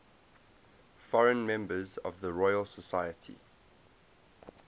foreign members of the royal society